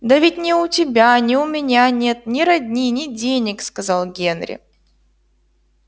да ведь ни у тебя ни у меня нет ни родни ни денег сказал генри